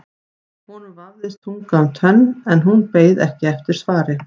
Honum vafðist tunga um tönn en hún beið ekki eftir svari.